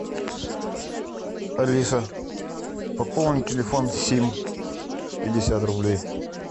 алиса пополни телефон сим пятьдесят рублей